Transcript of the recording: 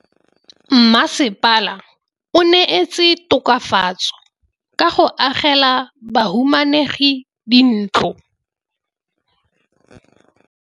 Mmasepala o neetse tokafatsô ka go agela bahumanegi dintlo.